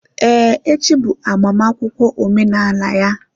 Ee echi bụ agbamakwụkwọ omenala ya